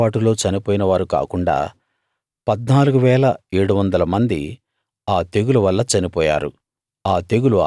కోరహు తిరుగుబాటులో చనిపోయిన వారు కాకుండా 14 700 మంది ఆ తెగులు వల్ల చనిపోయారు